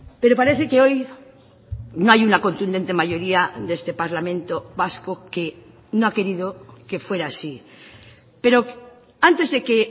pero parece que hoy no hay una contundente mayoría de este parlamento vasco que no ha querido que fuera así pero antes de que